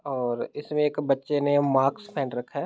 और इसमे एक बच्चा ने मास्क पहन रखा है।